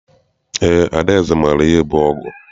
Eé, Adaeze maara ihe bụ ọgụ.